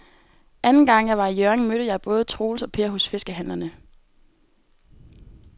Anden gang jeg var i Hjørring, mødte jeg både Troels og Per hos fiskehandlerne.